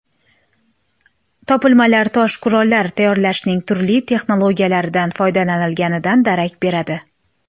Topilmalar tosh qurollar tayyorlashning turli texnologiyalaridan foydalanilganidan darak beradi.